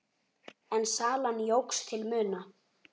En salan jókst til muna.